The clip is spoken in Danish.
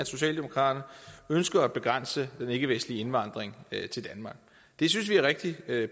socialdemokraterne ønsker at begrænse den ikkevestlige indvandring til danmark det synes vi er rigtig